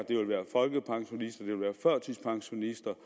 folkepensionister det ville være førtidspensionister